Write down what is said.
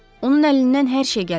Onun əlindən hər şey gələr.